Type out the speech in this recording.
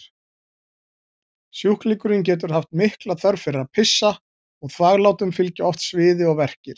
Sjúklingurinn getur haft mikla þörf fyrir að pissa og þvaglátum fylgja oft sviði og verkir.